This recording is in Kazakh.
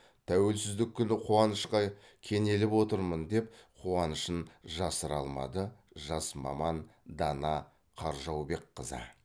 тәуелсіздік күні қуанышқа кенеліп отырмын деп қуанышын жасыра алмады жас маман дана қаржаубекқызы